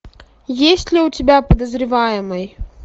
есть ли у тебя подозреваемый